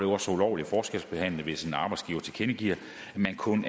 også ulovlig forskelsbehandling hvis en arbejdsgiver tilkendegiver at man kun